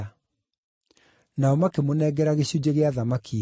Nao makĩmũnengera gĩcunjĩ gĩa thamaki hĩu.